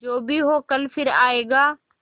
जो भी हो कल फिर आएगा